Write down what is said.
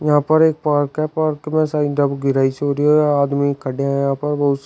यहां पर एक पार्क है पार्क में आदमी खड़े हैं यहाँ पर बहुत सा--